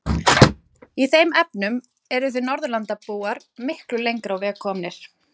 Í þeim efnum eruð þið Norðurlandabúar miklu lengra á veg komnir.